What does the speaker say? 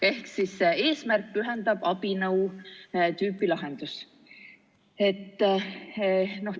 Ehk siis tegemist on "eesmärk pühendab abinõu" tüüpi lahendusega.